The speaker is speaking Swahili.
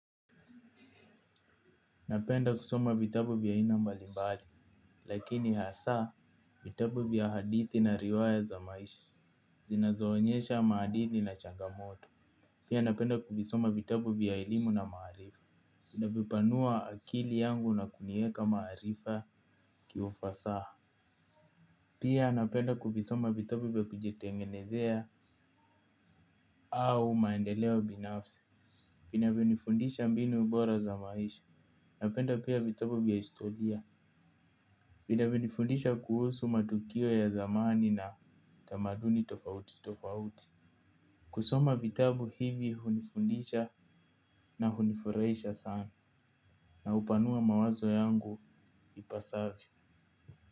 Napenda kusoma vitabu vya ainambali mbali, lakini hasa vitabu vya hadithi na riwaya za maisha, zinazoonyesha maadili na changamoto. Pia napenda kuvisoma vitabu vya ilimu na maharifa, inabipanua akili yangu na kunieka maharifa kiufasaha. Pia napenda kuvisoma vitabu vya kujitengenezea au maendeleo binafsi, pina vyonifundisha mbinu bora za maisha, napenda pia vitabu vya istolia. Vida vyonifundisha kuhusu matukio ya zamani na tamaduni tofauti tofauti. Kusoma vitabu hivi hunifundisha na hunifuraisha sana na upanua mawazo yangu ipasavyo.